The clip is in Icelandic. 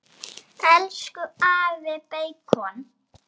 Elsku afi beikon.